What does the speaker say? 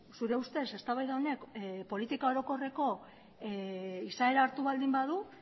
zure ustez eztabaida honek politika orokorreko izaera hartu baldin badu